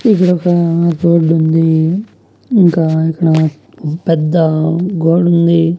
ఇక్కడొక రోడ్డుంది ఇంకా ఇక్కడ పెద్ద గోడుంది.